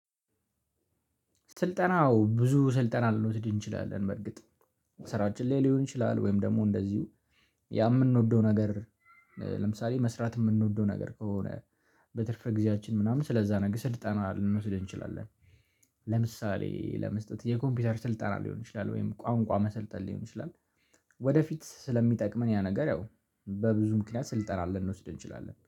ስልጠናው ብዙ ስልጠና ልንወስድ እንችላለን በርግጥ ስራችን ላይ ሊሆን ይችላል ወይም ደግሞ እንደዚሁ ያ የምንወደው ነገር። ለምሳሌ መስራት የምንወደው ነገር ከሆነ በትርፍ ጊዜያችን ምናምን ስለዛ ነገር ስልጣና ልንወስደ እንችላለን። ለምሳሌ ለመስጠት የኮምፒውተር ስልጣና ሊሆን ይችላል ወይም ቋንቋ መሰልጠን ሊሆን ይችላል። ወደፊት ስለሚጠቅመን ያ ነገር ያው በብዙ ምክንያት ስልጠና ልንወስደን እንችላለን።